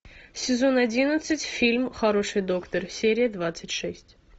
сезон одиннадцать фильм хороший доктор серия двадцать шесть